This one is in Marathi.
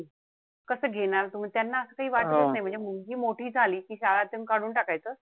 कस घेणार तुम्ही. त्यांना काई वाटत नाई म्हणजे मुलगी मोठी झाली कि शाळातून काढून टाकायचं.